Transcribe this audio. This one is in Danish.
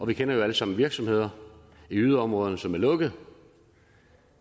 vi kender alle sammen virksomheder i yderområderne som er lukket